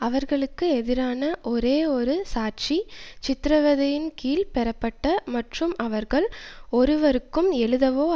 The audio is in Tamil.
அவர்களுக்கு எதிரான ஒரே ஒரு சாட்சி சித்திரவதையின் கீழ் பெறப்பட்ட மற்றும் அவர்கள் ஒருவருக்கும் எழுதவோ